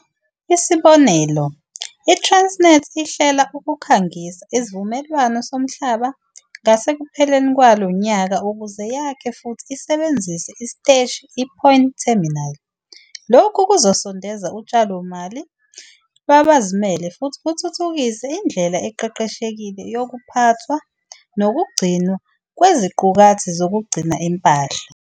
Isibonelo, iTransnet ihlela, ukukhangisa isivumelwano somhlaba ngasekupheleni kwalo nyaka ukuze yakhe futhi isebenzise isiteshi iPoint Terminal. Lokhu kuzosondeza utshalomali lwabazimele futhi kuthuthukise indlela eqeqeshekile yokuphathwa nokugcinwa kweziqukathi zokugcina impahla.